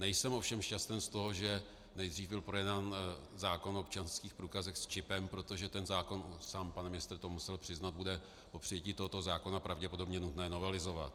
Nejsem ovšem šťasten z toho, že nejdřív byl projednán zákon o občanských průkazech s čipem, protože ten zákon, sám pan ministr to musel přiznat, bude po přijetí tohoto zákona pravděpodobně nutné novelizovat.